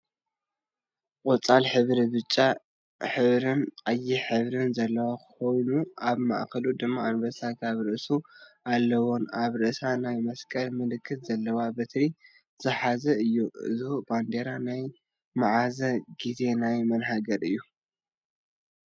ቆፃል ሕብሪን ብጫ ሕብርን ቀይሕ ሕብርን ዘለዎ ኮይኑ ኣብ ማእከሉ ድማ ኣንበሳ ኣብ ርእሱ አለዎንኣብ ርእሳ ናይ መስቀል ምልክት ዘለዋ በትሪ ዝሓዘን እዩ። እዙይ ባንዴራ ናይ ምዓዝ ግዜን ናይ ማን ሃገር እዩ?